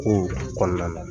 Kow kɔnɔna na